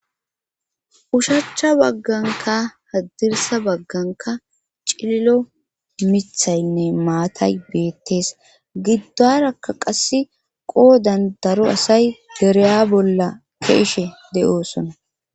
Ushachcha bagganka haddirsa bagganka cililo mithaynne maatay beettees giddarakka qasse qoo dan daro asay dereya bolla keeshe de7oosona.